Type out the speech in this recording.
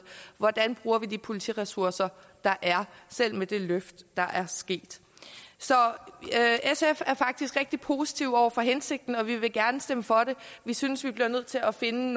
hvordan vi bruger de politiressourcer der er selv med det løft der er sket så sf er faktisk rigtig positive over for hensigten og vi vil gerne stemme for det vi synes vi bliver nødt til at finde